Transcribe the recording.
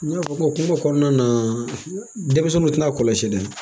N y'a fɔ hokumu kɔnɔna na denmisɛnnu tɛna kɔlɔsi dɛ